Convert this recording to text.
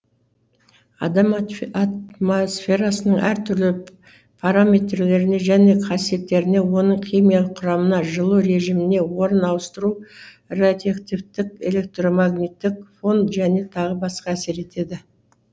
адам атмосфераның әр түрлі параметрлеріне және қасиеттеріне оның химия құрамына жылу режиміне орын ауыстыру радиоактивтілік электромагниттік фон және тағы басқа әсер етеді